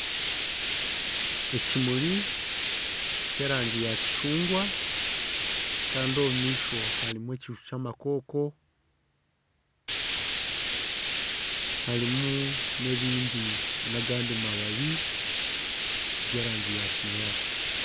Ekimuri ky'erangi ya kicungwa Kandi omu maisho harimu ekiju ky'amakoko harimu n'agandi mababi g'erangi ya kinyaantsi.